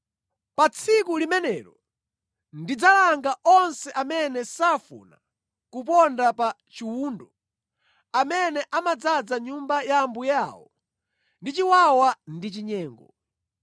Pa tsiku limenelo ndidzalanga onse amene safuna kuponda pa chiwundo, amene amadzaza nyumba ya ambuye awo ndi chiwawa ndi chinyengo.